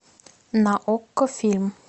на окко фильм